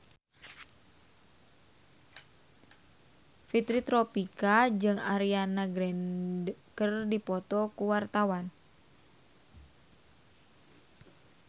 Fitri Tropika jeung Ariana Grande keur dipoto ku wartawan